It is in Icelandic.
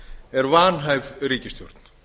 er vanhæf ríkisstjórn